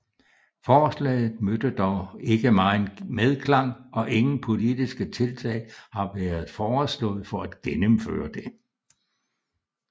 Forslaget mødte dog ikke meget medklang og ingen politiske tiltag har været foreslået for at gennemføre det